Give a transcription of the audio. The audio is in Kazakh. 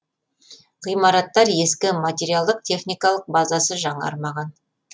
ғимараттар ескі материалдық техникалық базасы жаңармаған